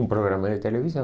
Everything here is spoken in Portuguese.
Um programa de televisão.